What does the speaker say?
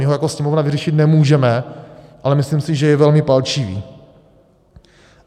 My ho jako Sněmovna vyřešit nemůžeme, ale myslím si, že je velmi palčivý.